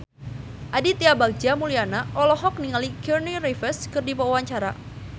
Aditya Bagja Mulyana olohok ningali Keanu Reeves keur diwawancara